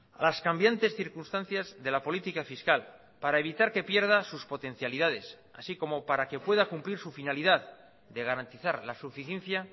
a las cambiantes circunstancias de la política fiscal para evitar que pierda sus potencialidades así como para que pueda cumplir su finalidad de garantizar la suficiencia